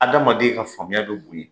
Adamaden ka faamuya bi bnonyɛ.